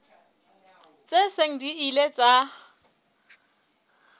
tse seng di ile tsa